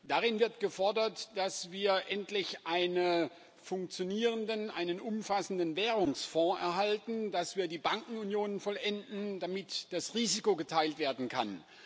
Darin wird gefordert, dass wir endlich einen funktionierenden, einen umfassenden Währungsfonds erhalten und dass wir die Bankenunion vollenden, damit das Risiko geteilt werden kann.